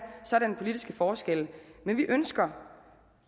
sådanne politiske forskelle men vi ønsker